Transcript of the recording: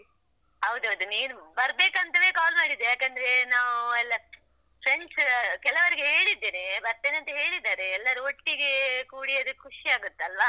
ಹೌದೌದು, ನೀನು ಬರ್ಬೇಕಂತವೆ call ಮಾಡಿದ್ದು, ಯಾಕಂದ್ರೆ ನಾವು ಎಲ್ಲ friends ಕೆಲವರಿಗೆ ಹೇಳಿದ್ದೇನೆ ಬರ್ತೇನೆ ಅಂತ ಹೇಳಿದಾರೆ, ಎಲ್ಲರು ಒಟ್ಟಿಗೆ ಕೂಡಿ ಅದೆ ಖುಷಿಯಾಗುತ್ತೆ ಅಲ್ವಾ.